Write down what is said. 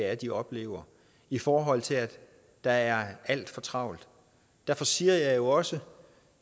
er de oplever i forhold til at der er alt for travlt derfor siger jeg jo også at